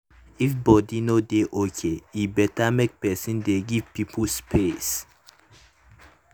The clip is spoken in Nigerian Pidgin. if body no dey okay e better make person dey give people space.